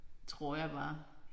Tror jeg bare